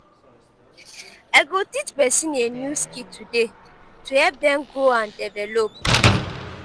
i go teach pesin a new skill today to help dem grow and develop.